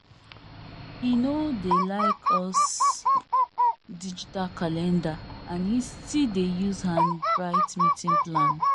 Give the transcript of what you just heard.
he no dey like us digital calendar and he still dey use hand write meeting plan